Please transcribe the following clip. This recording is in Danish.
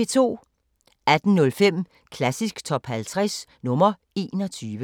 18:05: Klassisk Top 50 – nr. 21